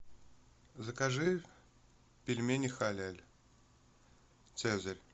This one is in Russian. закажи пельмени халяль цезарь